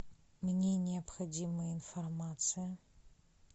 мне необходима информация